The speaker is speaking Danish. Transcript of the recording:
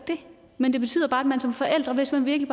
det men det betyder bare at man som forældre hvis man virkelig